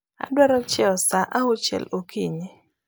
Adwaro chiew saa auchiel okinyi